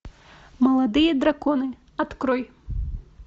молодые драконы открой